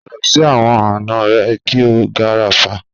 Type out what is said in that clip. Pada si awọn ana rẹ ki o gafara.